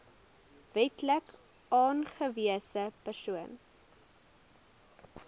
wetlik aangewese persoon